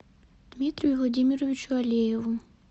дмитрию владимировичу алееву